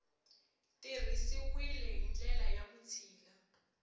tirhisiwile hi ndlela ya vutshila